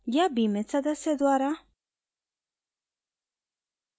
या बीमित सदस्य द्वारा